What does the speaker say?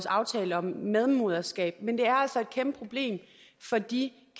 aftalen om medmoderskab men det er altså et kæmpe problem for de